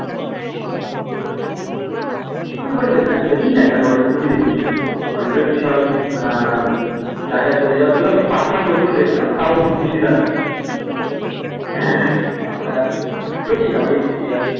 আমি খুব একটা দেখি না দেখিই না কি আমি hollywood movie দেখিই না hollywood এর বিশাল আহ জায়গায় চলে যাওয়ার জন্য সেই shark ফার্ক ওই গুলো দেখতাম তাও হিন্দি dubbing তারপরে আর দেখিনা hollywood movie আর